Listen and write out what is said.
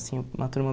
Assim, uma turma